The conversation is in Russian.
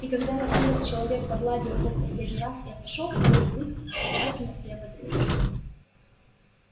и когда наконец человек погладил его в последний раз и отошёл белый клык окончательно приободрился